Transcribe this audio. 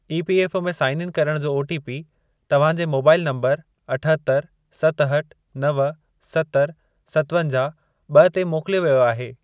EPFO में sign in करण जो ओटीपी तव्हां जे मोबाइल नंबर अठहतरि, सतहठि, नव, सतरि, सतवंजाहु, ॿ ते मोकिलियो वियो आहे।